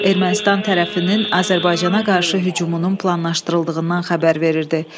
Ermənistan tərəfinin Azərbaycana qarşı hücumunun planlaşdırıldığından xəbər verirdi.